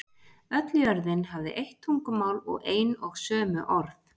Öll jörðin hafði eitt tungumál og ein og sömu orð.